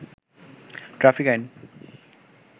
traffic আইন